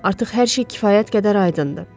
Artıq hər şey kifayət qədər aydındır.